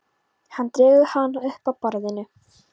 Hann dregur hana upp að borðinu.